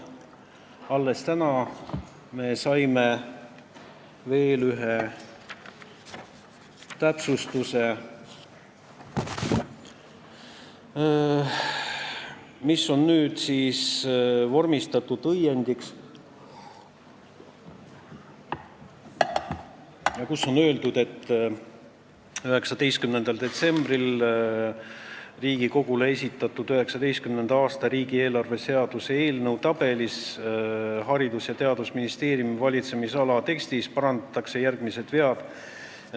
Alles täna me saime veel ühe täpsustuse, mis on nüüdseks vormistatud õiendiks, kus on öeldud, et 19. detsembril Riigikogule esitatud 2019. aasta riigieelarve seaduse eelnõu tabeli Haridus- ja Teadusministeeriumi valitsemisala tekstis parandatakse järgmised vead.